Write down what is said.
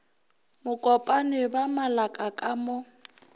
mokopane ba malaka ka mo